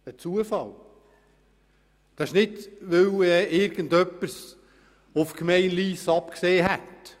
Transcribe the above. Es ist nicht so, dass irgendjemand es auf die Gemeinde Lyss abgesehen hätte.